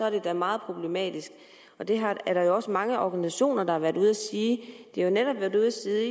at det er meget problematisk og det er der også mange organisationer der har været ude at sige de har netop været ude at sige